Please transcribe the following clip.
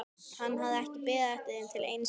Hann hafði ekki beðið eftir þeim til einskis.